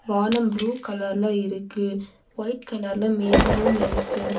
வானம் ப்ளூ கலர்ல இருக்கு ஒயிட் கலர்ல மேகமும் இருக்கு.